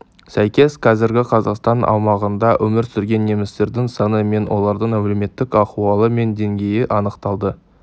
сәйкес қазіргі қазақстан аумағында өмір сүрген немістердің саны мен олардың әлеуметтік ахуалы мен деңгейі анықталды